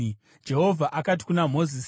Jehovha akati kuna Mozisi,